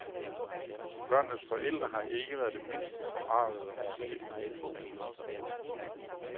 Børnenes forældre har ikke været det mindste forargede over filmens tone.